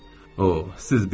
O, siz bilmirsiniz.